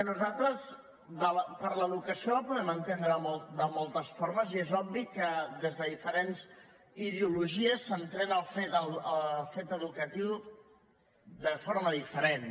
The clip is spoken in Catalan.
nosaltres l’educació la podem entendre de moltes formes i és obvi que des de diferents ideologies s’entén el fet educatiu de forma diferent